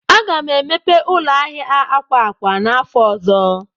Aga m emepe ụlọ ahịa akwa akwa n'afọ ọzọ.